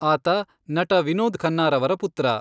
ಆತ ನಟ ವಿನೋದ್ ಖನ್ನಾರವರ ಪುತ್ರ.